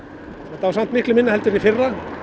þetta var samt miklu minna heldur en í fyrra